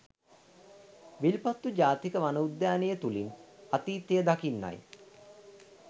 විල්පත්තු ජාතික වන උද්‍යානයේ තුලින් අතීතය දකින්නයි